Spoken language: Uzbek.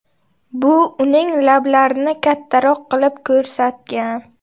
Bu uning lablarini kattaroq qilib ko‘rsatgan.